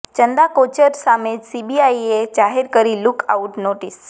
ચંદા કોચર સામે સીબીઆઇએ જાહેર કરી લૂક આઉટ નોટિસ